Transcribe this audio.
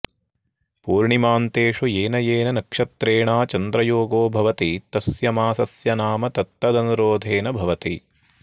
पूर्णिमान्तेषु येन येन नक्षत्रेणा चन्द्रयोगो भवति तस्य मासस्य नाम ततदनुरोधेन भवति